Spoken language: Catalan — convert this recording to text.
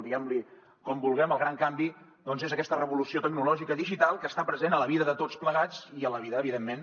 diguem ne com vulguem el gran canvi doncs és aquesta revolució tecnològica digital que està present a la vida de tots plegats i a la vida evidentment